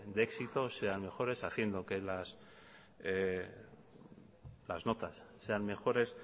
de éxitos sean mejora haciendo que las notas sean mejores